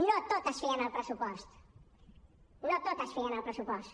no tot es fia en el pressupost no tot es fia en el pressupost